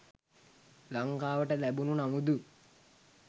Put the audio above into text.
ලංකාවට ලැබුණු නමුදු